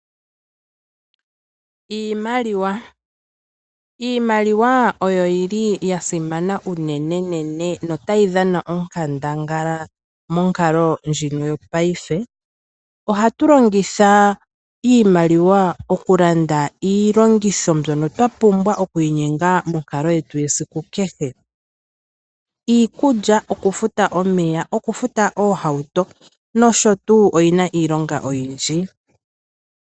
iimaliwa oyo yili yasimana unene notayi dhana onkandangala monkalo ndjino yopaife. Ohatulongitha iimaliwa okulanda iilongitho mbyono twapimbwa okwiinyenga monkalo yetu yesiku kehe, iikulya, okufuta omeya, okufuta oohauto nosho tuu oyina iilonga oyindji.